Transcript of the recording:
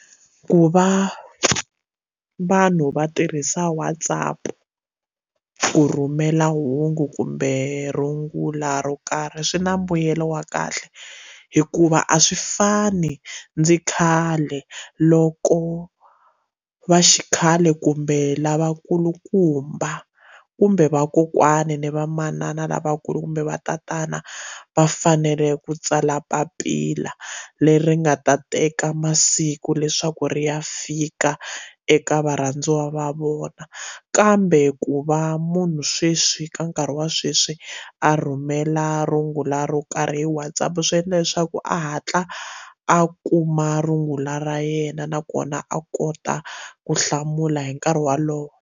Ku va vanhu va tirhisa WhatsApp ku rhumela hungu kumbe rungula ro karhi swi na mbuyelo wa kahle hikuva a swi fani ndzi khale loko va xikhale kumbe lavakulukumba kumbe vakokwani ni va manana lavakulu kumbe va tatana va fanele ku tsala papila leri nga ta teka masiku leswaku ri ya fika eka varhandziwa va vona kambe ku va munhu sweswi ka nkarhi wa sweswi a rhumela rungula ro karhi hi WhatsApp swi endla leswaku a hatla a kuma rungula ra yena nakona a kota ku hlamula hi nkarhi walowo.